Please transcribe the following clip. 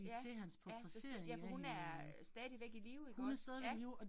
Ja, ja ja for hun er stadigvæk i live ikke også? Ja